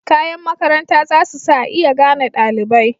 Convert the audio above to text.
Kayan makaranta zasu sa a iya gane dalibai.